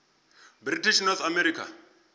british north america